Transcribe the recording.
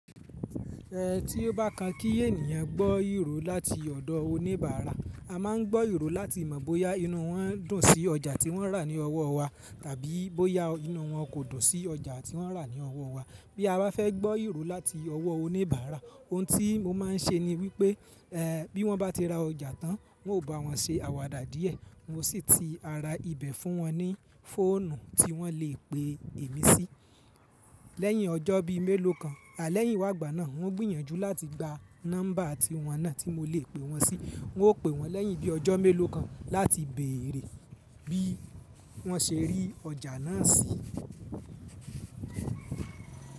Ẹ ti o bá kan kí ènìyàn gbọ́ ìrò láti ọ̀dọ̀ oníbàárà, a máa ń gbọ́ ìrò láti mọ̀ bóyá iná wọ́n dùn sí ọjà tí wọ́n rà ní ọwọ́ wà tàbí bóyá iná wọ́n kò dùn sí ọjà tí wọ́n rà ní ọwọ́ wa. Bí a bá fẹ́ gbọ́ ìrò láti ọwọ́ oníbàárà, ohun tí mo máa ń ṣe ni wí pé, ẹ bí wọ́n bá ti ra ọjà tán, n ò bá wọn ṣe àwàdà díẹ̀. Mo sì ti ara ibẹ̀ fún wọn ní fóònù tí wọ́n lè pè mí sí. Lẹ́yìn ọjọ́ bí i mélòó kan, alẹ́ yínwágbà náà, n o gbìyànjú láti gba nọ́ḿbà ti wọn náà tí mo lè pè wọ́n sí. N ó pè wọ́n lẹ́yìn bí i ọjọ́ mélòó kan láti béèrè bí wọ́n ṣe rí ọjà náà sí.